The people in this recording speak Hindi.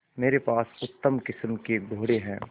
मेरे पास उत्तम किस्म के घोड़े हैं